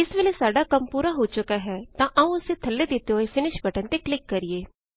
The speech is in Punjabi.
ਇਸ ਵੇਲ਼ੇ ਸਾਡਾ ਕੰਮ ਪੂਰਾ ਹੋ ਚੁੱਕਾ ਹੈ ਤਾਂ ਆਓ ਅਸੀਂ ਥੱਲੇ ਦਿਤੇ ਫਿਨਿਸ਼ ਬਟਨ ਤੇ ਕਲਿਕ ਕਰਿਏ